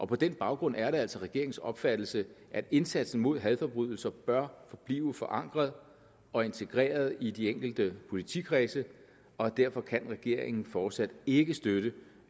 på den baggrund er det altså regeringens opfattelse at indsatsen mod hadforbrydelser bør forblive forankret og integreret i de enkelte politikredse og derfor kan regeringen fortsat ikke støtte